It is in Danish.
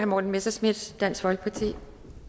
morten messerschmidt dansk folkeparti